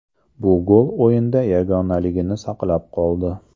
Bu gol o‘yinda yagonaligini saqlab qoldi.